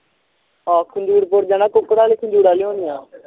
ਹਾਣ ਖੰਜੂਰ ਪੁਰ ਜਾਣਾ ਕੁੱਕੜ ਲਾਇ ਖੰਜੂਰ ਲਿਆਉਣਾ